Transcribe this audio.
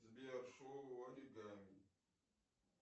сбер шоу оригами